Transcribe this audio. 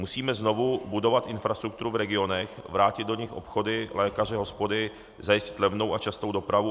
Musíme znovu budovat infrastrukturu v regionech, vrátit do nich obchody, lékaře, hospody, zajistit levnou a častou dopravu.